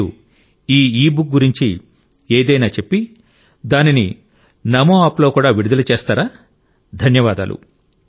మీరు ఈ ఇబుక్ గురించి ఏదైనా చెప్పి దానిని నామోఆప్లో కూడా విడుదల చేస్తారా ధన్యవాదాలు